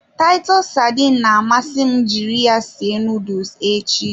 Titus sardines na-amasị m jiri ya sie nuduls ahụ echi.